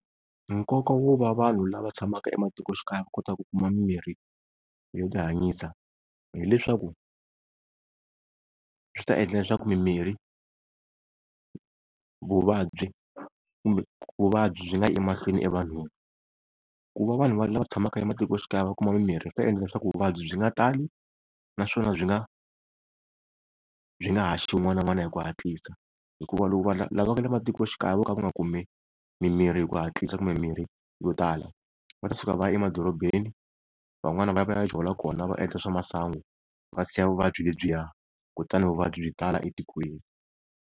Nkoka wo va vanhu lava tshamaka ematikoxikaya va kota ku kuma mimirhi yo ti hanyisa, hileswaku swi ta endla leswaku mimirhi, vuvabyi kumbe vuvabyi byi nga yi emahlweni evanhwini. Ku va vanhu lava tshamaka ematikoxikaya va kuma mimirhi swi ta endla leswaku vuvabyi byi nga tali naswona byi nga byi nga haxi wun'wana na wun'wana hi ku hatlisa. Hikuva loko lava nga le matikoxikaya vo ka va nga kumi mimirhi hi ku hatlisa kumbe mirhi yo tala, va ta suka va ya emadorobeni van'wani va ya va ya jola kona va endla swa masangu va siya vuvabyi lebyiya kutani vuvabyi tala etikweni.